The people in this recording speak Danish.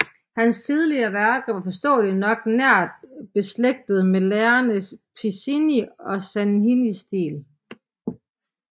Hans tidlige værker var forståeligt nok nært beslægtede med lærerne Piccinni og Sacchinis stil